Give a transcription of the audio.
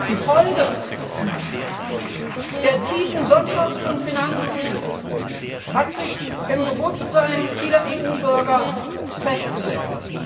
Die Folgen der tiefen Wirtschafts und Finanzkrise haben sich im Bewusstsein vieler EU Bürger festgesetzt.